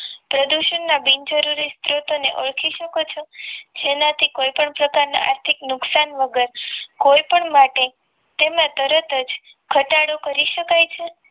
પ્રદૂષણના બિનજરૂરી સ્ત્રોતોને ઓળખી શકો છો તેનાથી કોઈપણ પ્રકારના આર્થિક નુકસાન વગર કોઈપણ માટે તેમજ તરત જ ઘટાડો કરી શકાય છે